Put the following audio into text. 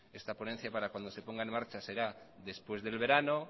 esta ponencia para cuando se ponga en marcha será después del verano